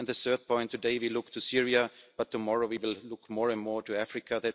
The third point today we look to Syria, but tomorrow we will look more and more to Africa.